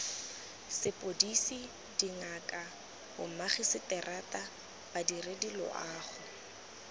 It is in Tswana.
sepodisi dingaka bomagiseterata badiredi loago